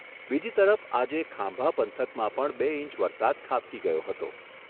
બીજી તરફ આજે ખાંભા પંથકમાં પણ બે ઇંચ વરસાદ ખાબકી ગયો હતો.